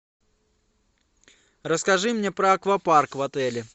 расскажи мне про аквапарк в отеле